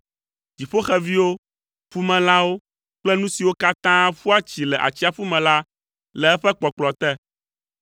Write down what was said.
dziƒoxeviwo, ƒumelãwo kple nu siwo katã ƒua tsi le atsiaƒu me la le eƒe kpɔkplɔ te.